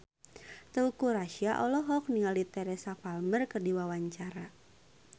Teuku Rassya olohok ningali Teresa Palmer keur diwawancara